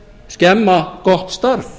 skemma gott starf